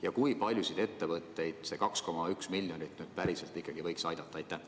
Ja kui paljusid ettevõtteid see 2,1 miljonit nüüd päriselt võiks aidata?